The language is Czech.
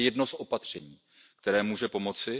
Toto je jedno z opatření, které může pomoci.